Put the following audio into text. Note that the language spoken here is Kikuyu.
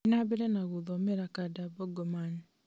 thiĩ na mbere na gũthomera kanda bongo man